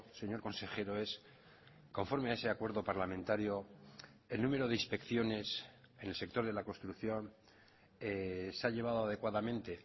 señor consejero es conforme a ese acuerdo parlamentario el número de inspecciones en el sector de la construcción se ha llevado adecuadamente